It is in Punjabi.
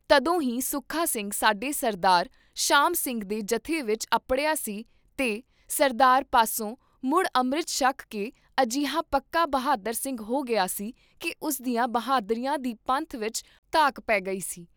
ਤਦੋਂ ਹੀ ਸੁੱਖਾ ਸਿੰਘ ਸਾਡੇ ਸਰਦਾਰ ਸ਼ਾਮ ਸਿੰਘ ਦੇ ਜਥੇ ਵਿਚ ਅੱਪੜਿਆ ਸੀ ਤੇ ਸਰਦਾਰ ਪਾਸੋਂ ਮੁੜ ਅੰਮ੍ਰਿਤ ਛਕ ਕੇ ਅਜਿਹਾ ਪੱਕਾ ਬਹਾਦਰ ਸਿੰਘ ਹੋ ਗਿਆ ਸੀ ਕੀ ਉਸਦੀਆਂ ਬਹਾਦਰੀਆਂ ਦੀ ਪੰਥ ਵਿਚ ਧਾਂਕ ਪੇ ਗਈ ਸੀ।